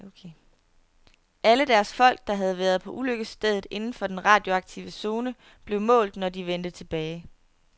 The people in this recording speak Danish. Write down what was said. Alle deres folk, der havde været på ulykkesstedet inden for den radioaktive zone, blev målt, når de vendte tilbage.